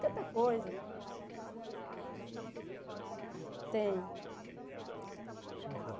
Tanta coisa Tem alguma coisa em mente, assim, que você queira buscar? Tem Conta para